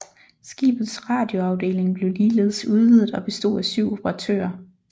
Skibets radioafdeling blev ligeledes udvidet og bestod af syv operatører